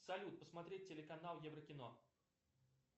салют посмотреть телеканал еврокино